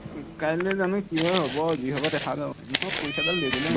কাইলে জানো কি হয় হব আৰু যি হব দেখা যাব এনেও পৰীক্ষাডাল দিবলে মন নাই